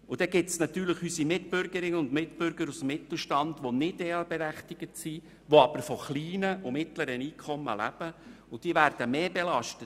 Dann gibt es auch unsere Mitbürgerinnen und Mitbürger aus dem Mittelstand, die nicht EL-berechtigt sind, die aber von kleinen und mittleren Einkommen leben, und diese werden dann zusätzlich belastet.